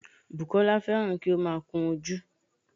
Bùkọ́lá fẹ́ràn kí ó má a kun ojú